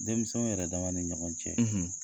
Denmisɛnninw yɛrɛdama ni ɲɔgɔn cɛ